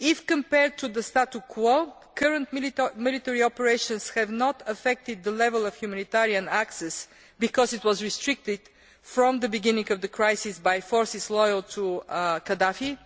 Compared to the status quo, current military operations have not affected the level of humanitarian access, because it was restricted from the beginning of the crisis by forces loyal to Gaddafi.